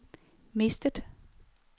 mistet